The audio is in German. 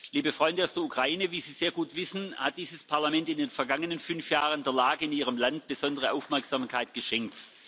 Liebe Freunde aus der Ukraine, wie Sie sehr gut wissen, hat dieses Parlament in den vergangenen fünf Jahren der Lage in ihrem Land besondere Aufmerksamkeit geschenkt.